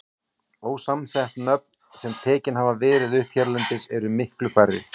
Ósamsett nöfn, sem tekin hafa verið upp hérlendis, eru miklu færri.